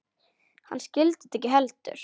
Hann skildi þetta ekki heldur.